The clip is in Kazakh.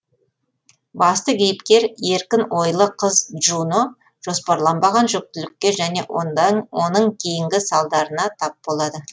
басты кейіпкер еркін ойлы қыз джуно жоспарланбаған жүктілікке және оның кейінгі салдарына тап болады